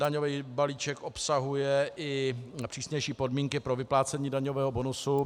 Daňový balíček obsahuje i přísnější podmínky pro vyplácení daňového bonusu.